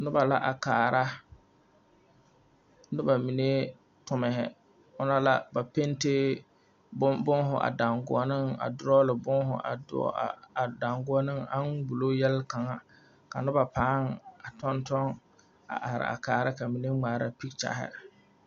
Nuba la a kaara nuba mene tumhi ɔ na la ba pente buma a danguoni a draw buma a danguoni ang wulo yelkanga ka nuba paa a tuntun a arẽ a kaara ka mene a ngmaara picture.